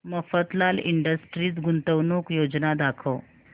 Mafatlal industries गुंतवणूक योजना दाखव